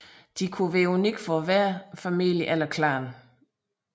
De kunne være unikke for hver familie eller klan